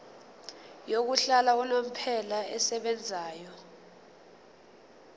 yokuhlala unomphela esebenzayo